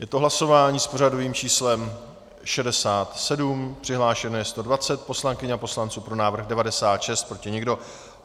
Je to hlasování s pořadovým číslem 67, přihlášeno je 120 poslankyň a poslanců, pro návrh 96, proti nikdo.